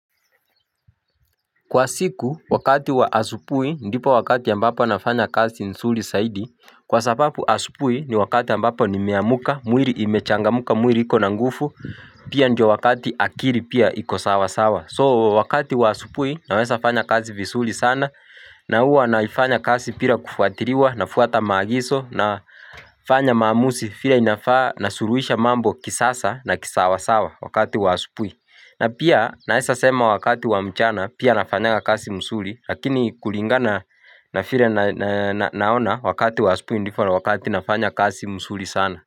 Kwa siku, wakati wa asubuhi, ndipo wakati ambapo nafanya kazi nzuri zaidi Kwa sababu asubuhi ni wakati ambapo nimeamka, mwili imechangamka, mwili iko na nguvu Pia ndio wakati akili pia iko sawasawa So wakati wa asubuhi, naweza fanya kazi vizuri sana na huwa naifanya kazi bila kufuatiliwa, nafuata magizo Nafanya maamuzi vile inafaa, nasuluhisha mambo kisasa na kisawasawa wakati wa asubuhi na pia naweza sema wakati wa mchana pia nafanyaga kasi mzuri lakini kulinga na na vile naona wakati wa asubuhi ndio wakati nafanya kazi mzuri sana.